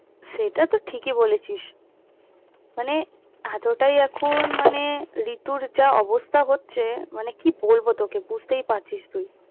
সেটা তো ঠিকই বলেছিস মানে এতটাই এখন মানে ঋতুর যা অবস্থা হচ্ছে মানে কি বলবো তোকে মানে বুঝতেই পারছিস তুই।